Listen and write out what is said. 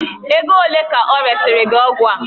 Ego ole ka ọ resịrị gị ọgwụ a?